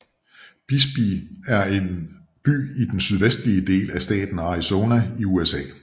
Bisbee er en by i den sydvestlige del af staten Arizona i USA